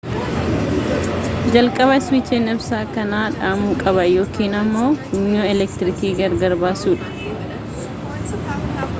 jalqaba iswiichiin ibsaa kanaa dhaamu qaba yookiin ammo funyoo eleektriikii gargar baasuudha